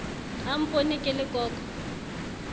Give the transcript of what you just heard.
a mpone ke le koko